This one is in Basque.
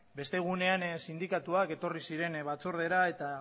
beste egunean sindikatuak etorri ziren batzordera eta